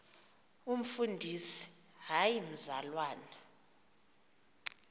umfundisi hayi mzalwana